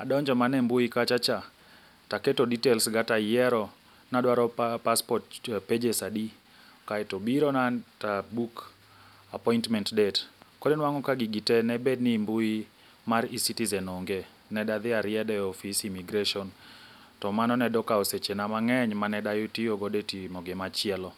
adonjo mane mbui kachacha, taketo details ga tayiero nadwaro pa passport pages adi, kaeto obirona tabook appointment date. Koro inwang'o ni gig tee debed ni mbui mar eCiitizen onge, nedadhi ariedo e office immigration, to mano nedo kao sechena mang'eny maneda atiogodo e timo gima chielo.